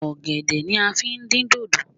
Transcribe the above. Ọ̀gẹ̀dẹ̀ ni a fi ń dín dòdò